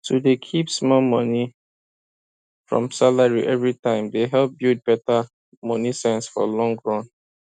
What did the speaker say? to dey keep small money from salary every time dey help build better money sense for long run